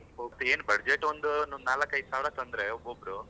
ಒಬ್ರ್ ಏನ್ budget ಒಂದ್ ನಾಲ್ಕ್ ಐದ್ ಸಾವಿರ ತಂದ್ರೆ ಒಬ್ಬೊಬ್ರು.